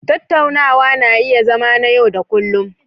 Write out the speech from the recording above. Tattaunawa na iya zama na yau da kullun.